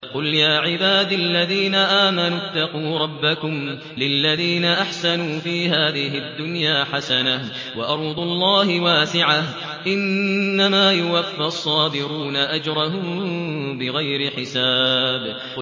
قُلْ يَا عِبَادِ الَّذِينَ آمَنُوا اتَّقُوا رَبَّكُمْ ۚ لِلَّذِينَ أَحْسَنُوا فِي هَٰذِهِ الدُّنْيَا حَسَنَةٌ ۗ وَأَرْضُ اللَّهِ وَاسِعَةٌ ۗ إِنَّمَا يُوَفَّى الصَّابِرُونَ أَجْرَهُم بِغَيْرِ حِسَابٍ